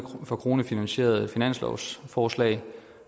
for krone finansieret finanslovsforslag